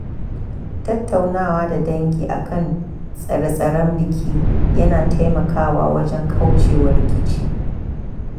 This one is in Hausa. Tattaunawa da dangi akan tsare-tsaren biki yana taimakawa wajen kauce wa rikici.